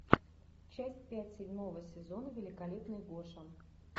часть пять седьмого сезона великолепный гоша